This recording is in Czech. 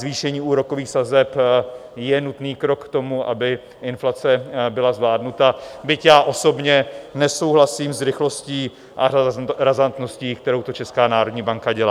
Zvýšení úrokových sazeb je nutný krok k tomu, aby inflace byla zvládnuta, byť já osobně nesouhlasím s rychlostí a razantností, kterou to Česká národní banka dělá.